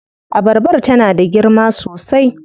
Abarbar tana da girma sosai.